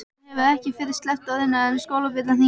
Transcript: Hann hefur ekki fyrr sleppt orðinu en skólabjallan hringir.